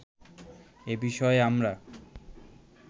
এ বিষয়ে আমরা